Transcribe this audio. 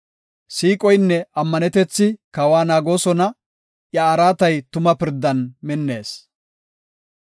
Siiqoynne ammanetethi kawa naagoosona; iya araatay tuma pirdan minnees.